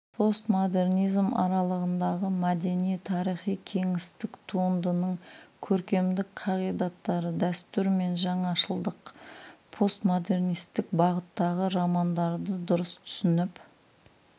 постмодернизм аралығындағы мәдени-тарихи кеңістік туындының көркемдік қағидаттары дәстүр мен жаңашылдық постмодернистік бағыттағы романдарды дұрыс түсініп